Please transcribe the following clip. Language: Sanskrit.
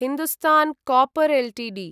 Hindustan copper Ltd